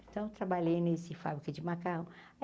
Então trabalhei nesse fábrica de macarrão.